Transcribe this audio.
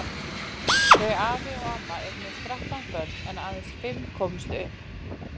Þau afi og amma eignuðust þrettán börn en aðeins fimm komust upp.